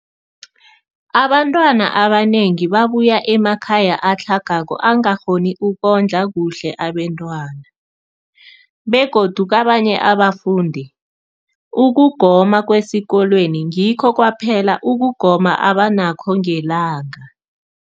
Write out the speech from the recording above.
Abantwana abanengi babuya emakhaya atlhagako angakghoni ukondla kuhle abentwana, begodu kabanye abafundi, ukugoma kwesikolweni ngikho kwaphela ukugoma abanakho ngelanga.